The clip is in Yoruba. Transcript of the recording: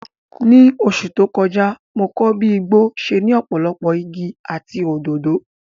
Ní oṣù tó kọjá, mo kọ́ bí igbó ṣe ní ọ̀pọ̀lọpọ̀ igi àti òdòdó.